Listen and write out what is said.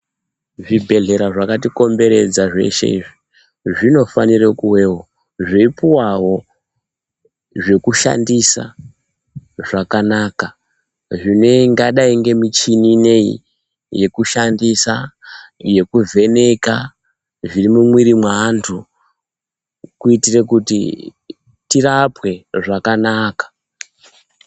Zvibhehlera zvakatikomberedza zveshe izvi, zvinofanire kuvewo zveipuwawo zvekushandisa, zvakanaka zvinganai nemichini ineyi yekushandisa yekuvheneka zviri mumwiri mweantu kuitire kuti tirapwe zvakanaka.